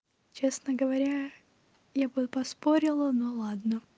честно говоря я бы поспорила но ладно